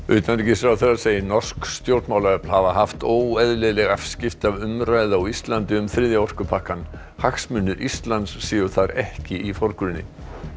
utanríkisráðherra segir norsk stjórnmálaöfl hafa haft óeðlileg afskipti af umræðu á Íslandi um þriðja orkupakkann hagsmunir Íslands séu þar ekki í forgrunni